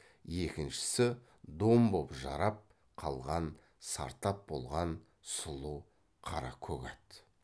екіншісі дом боп жарап қалған сартап болған сұлу қара көк ат